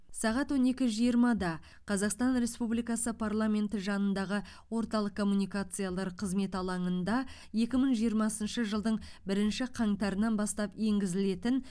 сағат он екі жиырмада қазақстан республикасы парламенті жанындағы орталық коммуникациялар қызметі алаңында екі мың жиырмасыншы жылдың бірінші қаңтарынан бастап енгізілетін